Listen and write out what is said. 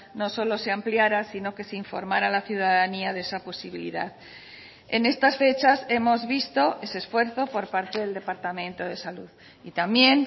no solo se ampliara sino que se informara a la ciudadanía de esa posibilidad en estas fechas hemos visto ese esfuerzo por parte del departamento de salud y también